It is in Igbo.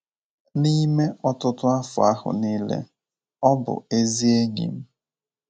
N’ime ọtụtụ afọ ahụ nile, ọ bụ ezi enyi m.